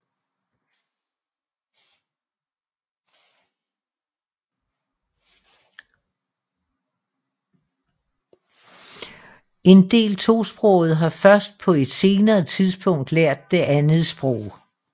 En del tosprogede har først på et senere tidspunkt lært det andet sprog